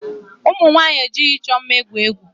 Ụmụ nwaanyị ejighị ịchọ mma egwu egwu.